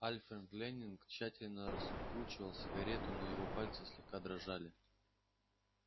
алфред лэннинг тщательно раскручивал сигарету но его пальцы слегка дрожали